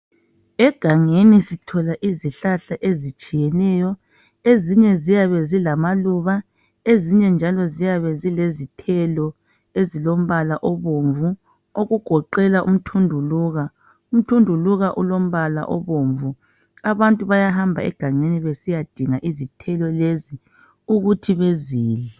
Egangeni sithola izihlahla ezitshiyeneyo ezinye ziyabe zilamaluba, ezinye njalo ziyabe zilezithelo ezilombala obomvu okugoqela umthunduluka. Umthunduluka ulombala obomvu, abantu bayahamba egangeni besiya dinga izithelo lezi ukuthi bezidle.